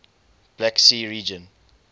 black sea region